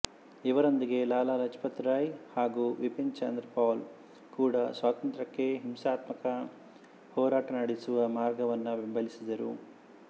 ಇವರೊಂದಿಗೆ ಲಾಲ ಲಜಪತ್ ರಾಯ್ ಹಾಗೂ ಬಿಪಿನ್ ಚಂದ್ರ ಪಾಲ್ ಕೂಡ ಸ್ವಾತಂತ್ರ್ಯಕ್ಕೆ ಹಿಂಸಾತ್ಮಕ ಹೋರಾಟ ನಡೆಸುವ ಮಾರ್ಗವನ್ನು ಬೆಂಬಲಿಸಿದರು